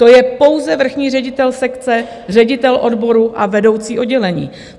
To je pouze vrchní ředitel sekce, ředitel odboru a vedoucí oddělení.